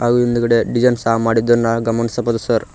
ಹಾಗು ಹಿಂದ್ಗಡೆ ಡಿಸೈನ್ ಸಹ ಮಾಡಿದ್ದನು ನಾವು ಗಮನಿಸಬಹುದು ಸರ್ .